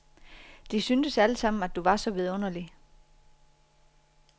De syntes allesammen, at du var så vidunderlig.